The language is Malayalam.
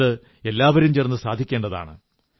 ഇത് എല്ലാവരും ചേർന്ന് സാധിക്കേണ്ടതാണ്